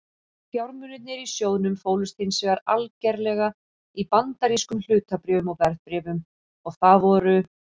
Fjármunirnir í sjóðnum fólust hins vegar algerlega í bandarískum hlutabréfum og verðbréfum og það voru